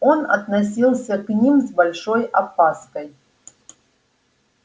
он относился к ним с большой опаской